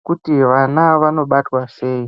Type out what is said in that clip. ekuti vana ava vanobatwa sei.